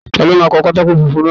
Ta ló máa pa pátákó funfun náà rẹ́.?